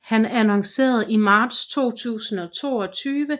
Han annoncerede i marts 2022